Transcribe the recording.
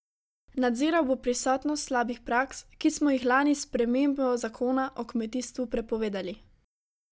Nadziral bo prisotnost slabih praks, ki smo jih lani s spremembo zakona o kmetijstvu prepovedali.